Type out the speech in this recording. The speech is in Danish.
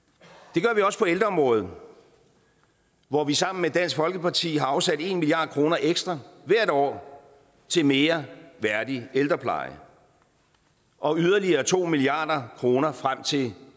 det gør vi også på ældreområdet hvor vi sammen med dansk folkeparti har afsat en milliard kroner ekstra hvert år til mere værdig ældrepleje og yderligere to milliard kroner frem til